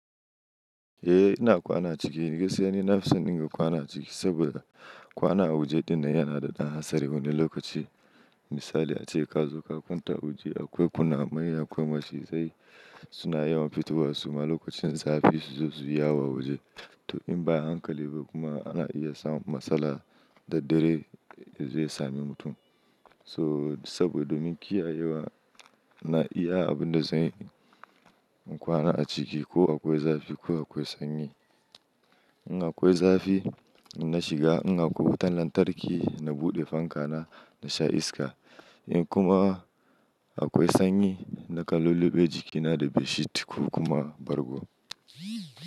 Eh ina kwana ciki, gaskiya ne na fi son in ga kwana ciki saboda kwana waje dinnan yana da ɗan hasari wani lokaci. Misali ace, ka zo ka kwanta a waje akwai kunamai akwai macizai suna yawan fitowa su ma lokacin zafi su zo su yi yawo a waje. To in ba a yi hankali ba kuma ana iya samun matsala da dare zai sami mutum. So saboda domin kiyayewa na iya abin da zanyi in kwana a ciki ko akwai zafi ko akwai sanyi. In akwai zafi in na shiga, in akwai wutan lantarki na buɗe fanka na sha iska. In kuma akwai sanyi nakan lulluɓe jikina da bedsheet ko kuma bargo.